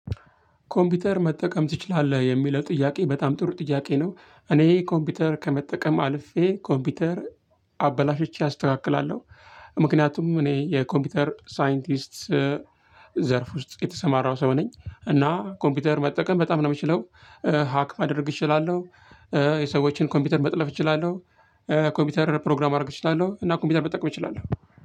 ኮምፒውተር መጠቀም ትችላለህ የሚለው ጥያቄ በጣም ጥሩ ጥያቄ ነው? እኔ ኮምፒውተር ከመጠቀም አልፌ ኮምፒውተር አበላሽቼ አስተካክላለሁ። ምክንያቱም እኔ የኮምፒውተር ሳይንቲስት ዘርፍ ውስጥ የተሰማራው ሰው ነኝ። እና ኮምፒውተር መጠቀም በጣም ነው የምችለው። ሀክ ማድረግ እችላለሁ። የሰዎችን ኮምፒውተር መጥለፍ እችላለሁ። ኮምፒውተር ፕሮግራም ማድረግ እችላለሁ እና ኮምፒውተር መጠቀም እችላለሁ